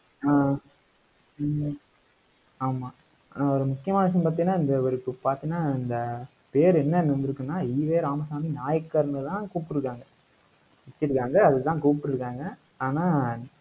ஆஹ் ஹம் ஆமா அஹ் ஒரு முக்கியமான விஷயம் பார்த்தீங்கன்னா இந்த ஒரு இப்போ பார்த்தீங்கன்னா அந்த பேரு என்னன்னு வந்திருக்குன்னா ஈவே ராமசாமி நாயக்கர்ன்னுதான் கூப்பிட்டிருக்காங்க வச்சிருக்காங்க அதுதான் கூப்பிட்டிருக்காங்க. ஆனா